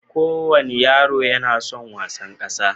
Kowane yaro yana son wasan ƙasa.